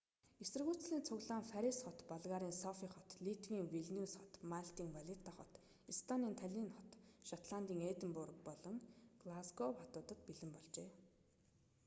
эсэргүүцлийн цуглаан парис хот болгарын софий хот литвийн вилниус хот малтын валетта хот эстонийн таллинн хот шотландын эдинбург болон глазгов хотуудад мөн болжээ